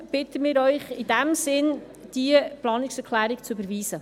Deshalb bitten wir Sie, diese Planungserklärung zu überweisen.